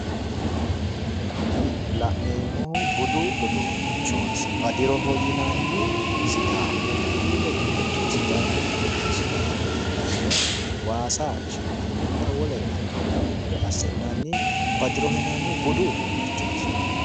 Kuni la'neemmohu budu uduunnichooti badiroho yinanni sidaamu kilile giddo sidaamu qooxeessira leellanno waasa qishi'nanninna wolere hattoore assi'nanni badiroho yinanni budu uduunnichooti